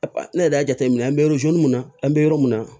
Ne yɛrɛ y'a jateminɛ an bɛ mun na an bɛ yɔrɔ min na